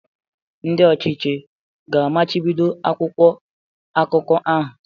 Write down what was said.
Ndị ọchịchị ga-amachibido akwụkwọ akụkọ ahụ?